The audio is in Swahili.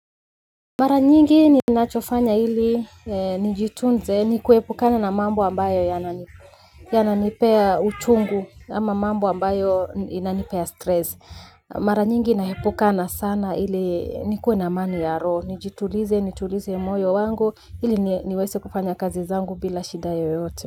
Mara nyingi ninachofanya ili nijitunze ni kuepukana na mambo ambayo yananipea uchungu ama mambo ambayo inanipea stress. Mara nyingi naepukana sana ili nikuwe na amani ya roho. Nijitulize, nitulize moyo wangu ili niweze kufanya kazi zangu bila shida yoyote.